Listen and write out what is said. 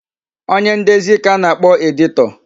Onye ndezi ka a na-akpọ editor.